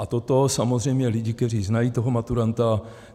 A toto samozřejmě lidi, kteří znají toho maturanta...